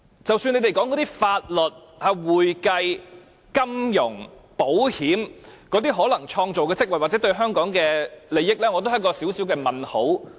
即使你們說，提供法律、會計、金融或保險等服務，可能會創造職位或利益，我也有一個小問號。